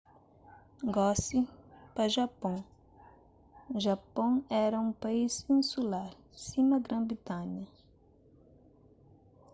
gosi pa japon japon éra un país insular sima gran-britanha